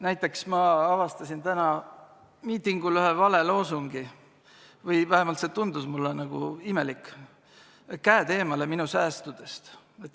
Näiteks, ma avastasin täna miitingul ühe vale loosungi või vähemalt see tundus mulle nagu imelik: "Käed eemale minu säästudest!